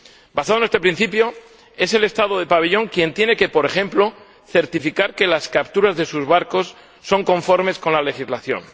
Basado en este principio, es el Estado del pabellón quien tiene, por ejemplo, que certificar que las capturas de sus barcos son conformes a la legislación.